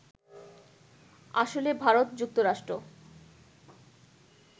আসলে ভারত-যুক্তরাষ্ট্র